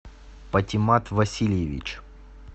патимат васильевич